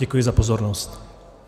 Děkuji za pozornost.